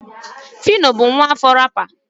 phyno bụ nwaafọ rapper.